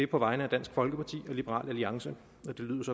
på vegne af dansk folkeparti og liberal alliance